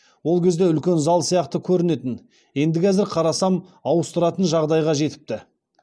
ол кезде үлкен зал сияқты көрінетін енді қазір қарасам ауыстыратын жағдайға жетіпті